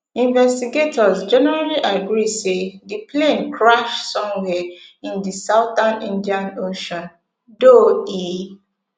investigators generally agree say di plane crash somwia in di southern indian ocean though e